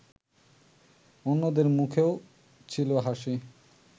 অন্যদের মুখেও ছিল হাসি